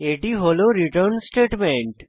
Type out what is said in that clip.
এটি হল return statement